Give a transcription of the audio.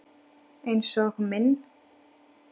Einsog minn.